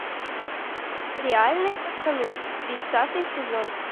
реальные пацаны тридцатый сезон